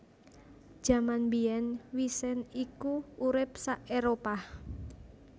Jaman mbiyèn wisent iku urip sa Éropah